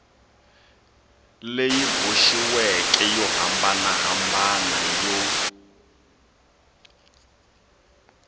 leyi boxiweke yo hambanahambana yo